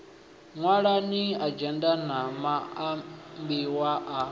ṅwalani adzhenda na maambiwa a